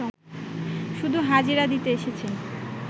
শুধু হাজিরা দিতে এসেছেন